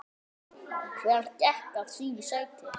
Hver gekk að sínu sæti.